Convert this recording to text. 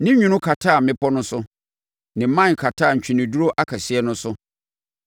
Ne nwunu kataa mmepɔ no so ne mman kataa ntweneduro akɛseɛ no so.